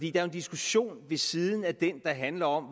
er en diskussion ved siden af den der handler om